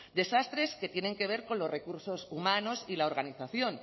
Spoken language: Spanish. desastres que tienen que ver con los recursos humanos y la organización